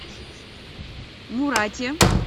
мурате